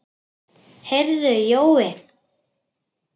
Heyrðu Jói.